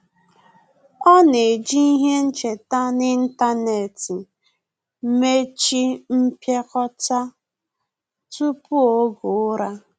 Ọ́ nà-ejì ihe ncheta n’ị́ntánétị̀ màchí mpịakọta tupu oge ụ́rà.